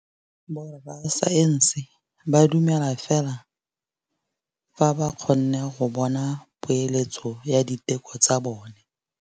Borra saense ba dumela fela fa ba kgonne go bona poeletsô ya diteko tsa bone.